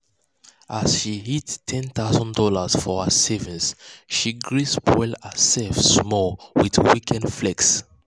as she hit one thousand dollars0 for her savings she gree spoil herself small with weekend flex.